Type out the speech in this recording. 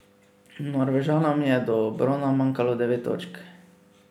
Norvežanom je do brona manjkalo devet točk.